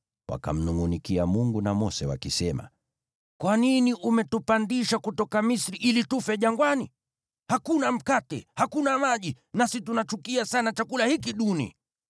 wakamnungʼunikia Mungu na Mose, wakisema, “Kwa nini umetupandisha kutoka Misri ili tufe jangwani? Hakuna mkate! Hakuna maji! Nasi tunachukia sana chakula hiki duni!”